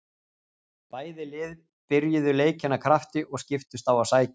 Bæði lið byrjuðu leikinn af krafti og skiptust á að sækja.